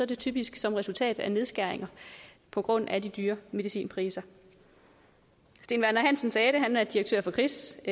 det typisk som resultat af nedskæringer på grund af de dyre medicinpriser steen werner hansen direktør for kris